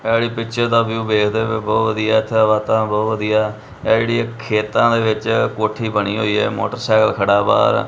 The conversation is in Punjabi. ਹੈਲੀ ਪਿਕਚਰ ਦਾ ਵਿਊ ਵੇਖਦੇ ਪਏ ਹੋ ਬਹੁਤ ਵਧੀਆ ਇੱਥੇ ਵਾਤਾਵਰਣ ਬਹੁਤ ਵਧੀਆ ਇਹ ਜਿਹੜੀ ਖੇਤਾਂ ਦੇ ਵਿੱਚ ਕੋਠੀ ਬਣੀ ਹੋਈ ਹੈ ਮੋਟਰਸਾਈਕਲ ਖੜਾ ਵਾ।